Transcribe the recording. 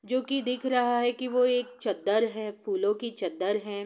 जो की दिख रहा है की वो एक चदर है फूलों की चदर है।